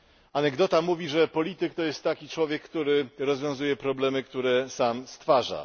Anegdota mówi, że polityk to jest taki człowiek, który rozwiązuje problemy, które sobie sam stwarza.